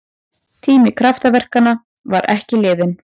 Tími kraftaverkanna var ekki liðinn!